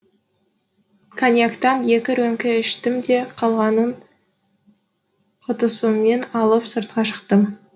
коньяктан екі рөмке іштім де қалғанын құтысымен алып сыртқа шықтым